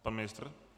Pan ministr.